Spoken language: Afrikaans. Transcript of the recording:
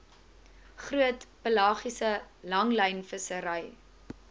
groot pelagiese langlynvissery